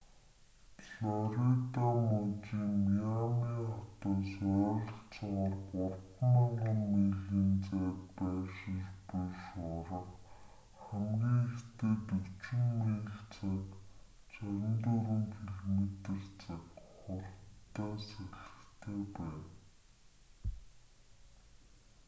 флорида мужийн миами хотоос ойролцоогоор 3,000 милийн зайд байршиж буй шуурга хамгийн ихдээ 40 миль/цаг 64 км/цаг хурдтай салхитай байна